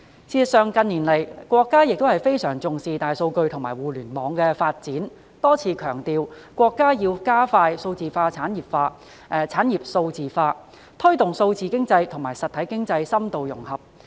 事實上，近年國家也相當重視大數據和互聯網的發展，多次強調國家要加快數字產業化、產業數字化，推動數字經濟和實體經濟深度融合。